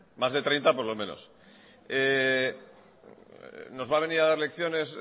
más de treinta por lo menos nos va a venir a dar lecciones